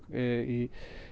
í